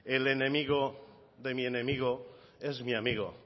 el enemigo de mi enemigo es mi amigo